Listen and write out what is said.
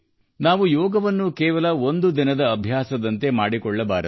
ನಾವು ಯೋಗವನ್ನು ಕೇವಲ ಒಂದು ದಿನದ ಅಭ್ಯಾಸವನ್ನಾಗಿ ಮಾಡಬೇಕಾಗಿಲ್ಲ